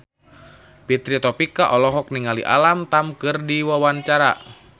Fitri Tropika olohok ningali Alam Tam keur diwawancara